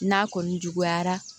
N'a kɔni juguyara